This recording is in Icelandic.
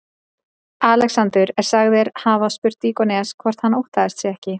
Alexander er sagður hafa spurt Díógenes hvort hann óttaðist sig ekki.